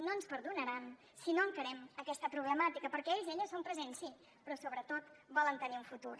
no ens perdonaran si no encarem aquesta problemàtica perquè ells i elles són present sí però sobretot volen tenir un futur